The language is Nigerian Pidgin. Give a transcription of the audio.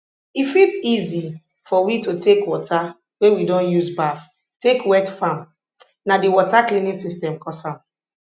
e fit easy for we to take water wey we don use baff take wet farm na di water cleaning system cause am